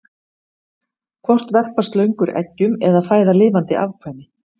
hvort verpa slöngur eggjum eða fæða lifandi afkvæmi